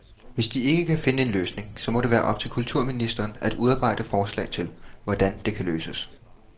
Hvis de ikke kan finde en løsning, så må det være op til kulturministeren at udarbejde forslag til, hvordan det kan løses.